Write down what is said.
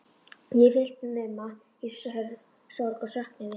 Ég er fullnuma í sorg og söknuði.